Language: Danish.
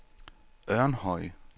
Ørnhøj